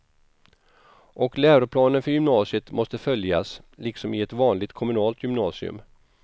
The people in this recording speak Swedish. Och läroplanen för gymnasiet måste följas, liksom i ett vanligt kommunalt gymnasium.